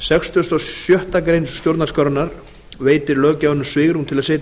sextugustu og sjöttu grein stjórnarskrárinnar veitir löggjafanum svigrúm til að setja í